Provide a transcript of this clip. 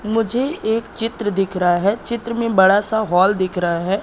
मुझे एक चित्र दिख रहा है चित्र में बड़ा सा हॉल दिख रहा है।